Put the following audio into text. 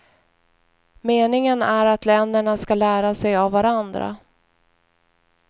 Meningen är att länderna ska lära sig av varandra.